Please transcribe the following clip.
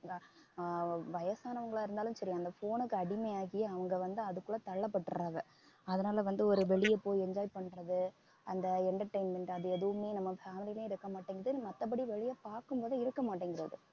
ஆஹ் வ~ வயசானவங்களா இருந்தாலும் சரி அந்த phone க்கு அடிமையாகி அவங்க வந்து அதுக்குள்ள தள்ளப்பட்டுடறாங்க அதனால வந்து ஒரு வெளிய போய் enjoy பண்றது அந்த entertainment அது எதுவுமே நம்ம இருக்கமாட்டேங்குது மத்தபடி வெளிய பார்க்கும் போதே இருக்கமாட்டேங்குது